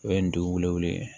O ye nin dugu wele